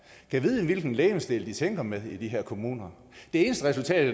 hvilken legemsdel de tænker med i de her kommuner det eneste resultat